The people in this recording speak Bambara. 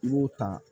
I y'o ta